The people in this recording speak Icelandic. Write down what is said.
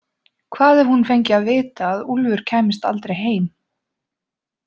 Hvað ef hún fengi að vita að Úlfur kæmist aldrei heim?